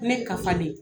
Ne ka faden